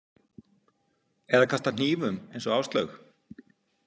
Eða kastað hnífum eins og Áslaug?